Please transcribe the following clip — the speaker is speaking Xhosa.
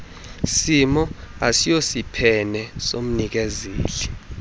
simo ayisosiphene somnikezeli